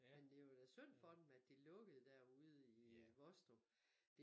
Men det var da synd for dem at det lukkede derude i Vostrup